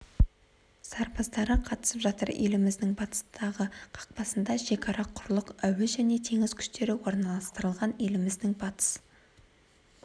сарбаздары қатысып жатыр еліміздің батыстағы қақпасында шекара құрлық әуе және теңіз күштері орналастырылған еліміздің батыс